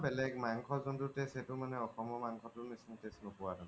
বেলেগ মান্শৰ জুন্তু taste সেইতো অসমৰ মান্শতোৰ নিচিনা taste নোপুৱা মানে